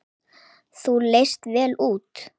Þú leist vel út.